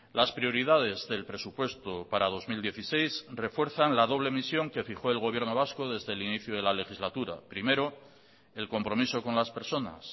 las prioridades del presupuesto para dos mil dieciséis refuerzan la doble misión que fijó el gobierno vasco desde el inicio de la legislatura primero el compromiso con las personas